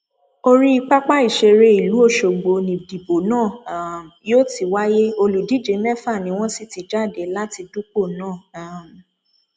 orí pápá ìṣeré ìlú ọṣọgbó nídìbò náà um yóò ti wáyé olùdíje mẹfà ni wọn sì ti jáde láti dúpọ náà um